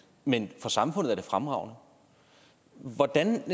men for samfundet er det fremragende hvordan